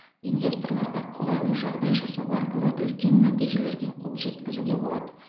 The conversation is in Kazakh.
инвесторларға қолайлы жағдай жасау арқылы үлкен нәтижелерге қол жеткізуге болады